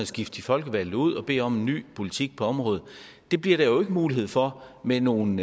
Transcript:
skifte de folkevalgte ud og bede om en ny politik på området det bliver der jo ikke mulighed for med nogle